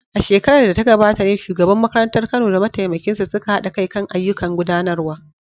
A shekarar da ta gabata ne shugaban makarantar Kano da mataimakinsa suka haɗa kai kan ayyukan gudanarwa.